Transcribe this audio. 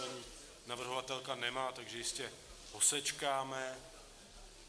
Paní navrhovatelka nemá, takže jistě posečkáme.